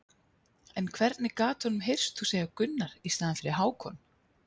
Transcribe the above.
En hvernig gat honum heyrst þú segja Gunnar í staðinn fyrir Hákon?